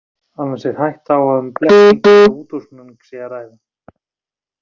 Annars er hætta á að um blekkingu eða útúrsnúning sé að ræða.